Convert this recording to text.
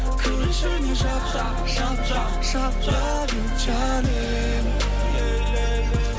кір ішіне жап жап жап лав ю джаним